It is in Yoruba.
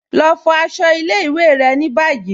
Lọ fo àṣọ̀ ilẹ̀-ìwé̀ rẹ̀ ni báyì